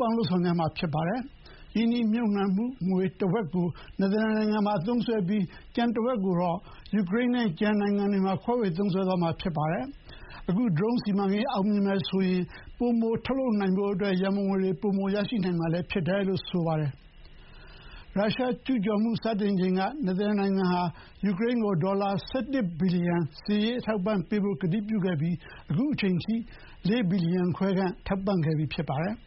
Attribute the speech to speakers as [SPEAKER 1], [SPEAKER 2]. [SPEAKER 1] ပေါင်းလုပ်ဆောင်ကြမှာဖြစ်ပါတယ်။ ရင်းနှီးမြှုပ်နှံငွေတဝက်ကို နယ်သာလန်နိုင်ငံကသုံးစွဲပြီး ကျန်တဝက်ကိုတော့ ယူကရိန်းနဲ့ ကျန်နိုင်ငံတွေမှာ ခွဲဝေသုံးစွဲသွားမှာ ဖြစ်ပါတယ်။ အခုဒရုန်းစီမံကိန်းအောင်မြင်တယ်ဆိုရင် ပိုမိုထုတ်လုပ်နိုင်ဖို့အတွက် ရံပုံငွေတွေ ပိုမိုရရှိနိုင်လိမ့်မယ် လို့လည်း နယ်သာလန်ကာကွယ်ရေးဝန်ကြီးက ပြောပါတယ်။ ရုရှားကျူးကျော်မှုစတင်ချိန်က နယ်သာလန်နိုင်ငံဟာ ယူကရိန်းကို ဒေါ်လာ ၁၁ ဘီလီယံစစ်ရေးအထောက်အပံ့ပေးဖို့ ကတိပြုခဲ့ပြီး အခုချိန်ထိ ၄ ဘီလီယံခွဲခန့် ထောက်ပံ့ခဲ့ပြီးဖြစ်ပါတယ်။